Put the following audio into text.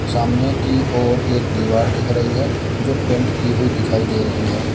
सामने की ओर एक दीवार दिख रही है जो पेंट की हुई दिखाई दे रही है।